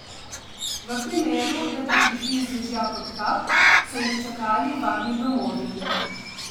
V primeru, da bi prišli z dežja pod kap, so jih čakali varni domovi.